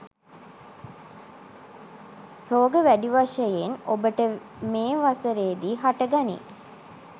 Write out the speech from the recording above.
රෝග වැඩි වශයෙන් ඔබට මේ වසරේදි හට ගනී.